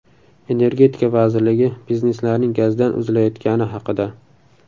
Energetika vazirligi bizneslarning gazdan uzilayotgani haqida.